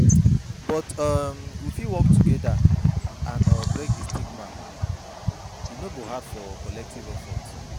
But um we fit work together and um break di stigma, e no go hard for collective efforts.